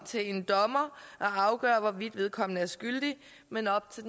til en dommer at afgøre hvorvidt vedkommende er skyldig men op til